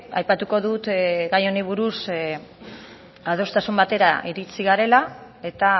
aipatuko dut gai honi buruz adostasun batera iritsi garela eta